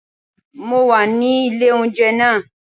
Mo wà nílé oúnjẹ náà